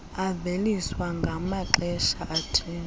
aveliswa ngamaxesha athile